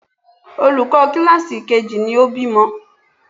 Olùkọ́ kíláàsì kejì ni ó bímọ.